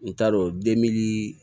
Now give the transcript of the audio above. N t'a dɔn